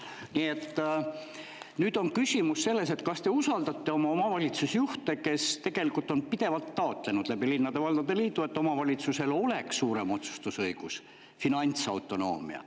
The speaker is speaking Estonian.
Nii et nüüd on küsimus selles, kas te usaldate omavalitsusjuhte, kes on tegelikult linnade-valdade liidu kaudu pidevalt taotlenud seda, et omavalitsusel oleks suurem otsustusõigus, finantsautonoomia.